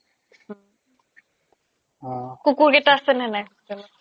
কুকুৰকিটা আছে নে নাই hostel ত